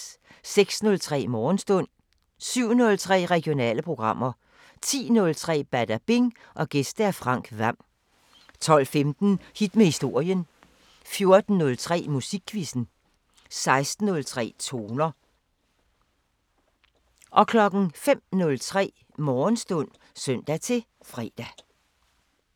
06:03: Morgenstund 07:03: Regionale programmer 10:03: Badabing: Gæst Frank Hvam 12:15: Hit med historien 14:03: Musikquizzen 16:03: Toner 05:03: Morgenstund (søn-fre)